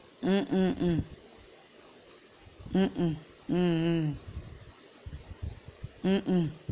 உம் உம் உம் உம் உம் உம் உம் உம் உம்